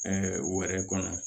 wɛrɛ kɔnɔ